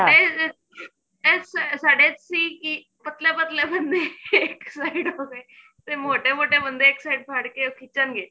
ਡੇ ਸਾਡੇ ਸੀ ਕੀ ਪਤਲੇ ਪਤਲੇ ਬੰਦੇ ਇੱਕ side ਹੋ ਗਏ ਤੇ ਮੋਟੇ ਮੋਟੇ ਬੰਦੇ ਇੱਕ side ਖੜ੍ਹ ਕੇ ਖਿਚਣ ਗੇ